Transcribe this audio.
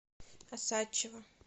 осадчего